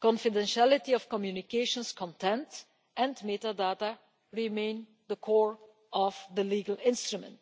the confidentiality of communications' content and metadata remain the core of the legal instrument.